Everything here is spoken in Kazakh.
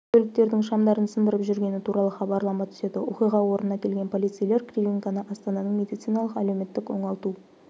көліктердің шамдарын сындырып жүргені туралы хабарлама түседі оқиға орнына келген полицейлер кривенконы астананың медициналық-әлеуметтік оңалту